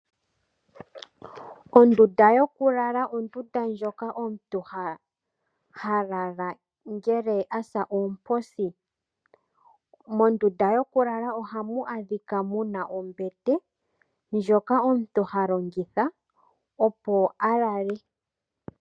Ondunda yokulala ondunda moka omutu ha lala ngele a sa oomposi. Mondunda yokulala ohamu adhika mu na ombete ndjoka omuntu ha longitha, opo a lale.